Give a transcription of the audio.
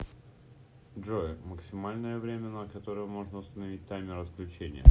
джой максимальное время на которое можно установить таймер отключения